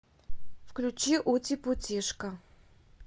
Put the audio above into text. включи ути путишка